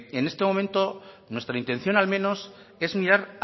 en este momento nuestra intención al menos es mirar